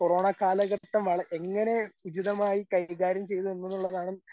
corona കാലഘട്ടം വള, എങ്ങനെ ഉചിതമായി കൈകാര്യം ചെയ്തു എന്നുള്ളതാണ്